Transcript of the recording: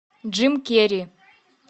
джим керри